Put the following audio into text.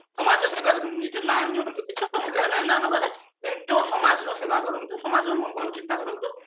ସମାଜର ଏବା କରନ୍ତୁ ନିଜର ନାଁ ନିଅନ୍ତୁ କିଛି ଅସୁବିଧା ନାହିଁ ନାଁ ନବାର କିନ୍ତୁ ସମାଜର ସେବା କରନ୍ତୁ ସମାଜ ର ମଙ୍ଗଳ ଚିନ୍ତା କରନ୍ତୁ